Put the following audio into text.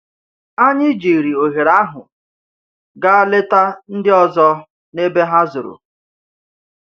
Anyị jiri ohere ahụ gaa leta ndị ọzọ n’ebe ha zoro.